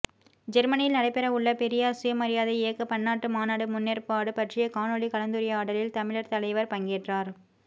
ஜெர்மனியில் நடைபெறவுள்ள பெரியார் சுயமரியாதை இயக்க பன்னாட்டு மாநாடு முன்னேற்பாடு பற்றிய காணொலி கலந்துரையாடலில் தமிழர் தலைவர் பங்கேற்றார்